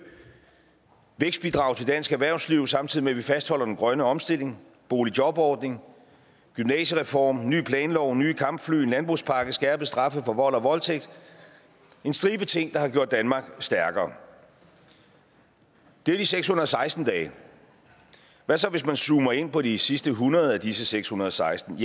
vækstbidrag til dansk erhvervsliv samtidig med at vi fastholder den grønne omstilling boligjobordning gymnasiereform ny planlov nye kampfly landbrugspakke skærpede straffe for vold og voldtægt en stribe ting der har gjort danmark stærkere det er de seks hundrede og seksten dage hvad så hvis man zoomer ind på de sidste hundrede af disse seks hundrede og seksten